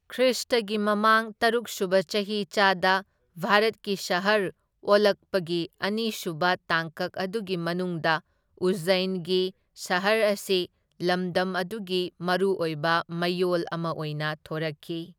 ꯈ꯭ꯔꯤꯁꯇꯒꯤ ꯃꯃꯥꯡ ꯇꯔꯨꯛ ꯁꯨꯕ ꯆꯍꯤꯆꯥꯗ ꯚꯥꯔꯠꯀꯤ ꯁꯍꯔ ꯑꯣꯜꯂꯛꯄꯒꯤ ꯑꯅꯤꯁꯨꯕ ꯇꯥꯡꯀꯛ ꯑꯗꯨꯒꯤ ꯃꯅꯨꯡꯗ ꯎꯖꯖꯩꯟꯒꯤ ꯁꯍꯔ ꯑꯁꯤ ꯂꯝꯗꯝ ꯑꯗꯨꯒꯤ ꯃꯔꯨꯑꯣꯏꯕ ꯃꯌꯣꯜ ꯑꯃ ꯑꯣꯏꯅ ꯊꯣꯔꯛꯈꯤ꯫